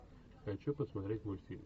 хочу посмотреть мультфильм